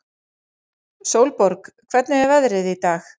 Sólborg, hvernig er veðrið í dag?